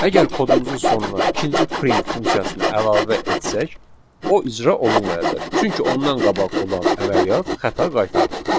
Əgər kodumuzun sonuna ikinci print funksiyasını əlavə etsək, o icra olunmayacaq, çünki ondan qabaq olan əməliyyat xəta qaytardı.